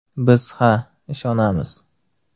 Biz ha, ishonamiz!